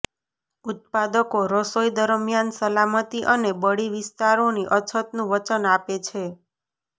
ઉત્પાદકો રસોઈ દરમિયાન સલામતી અને બળી વિસ્તારોની અછતનું વચન આપે છે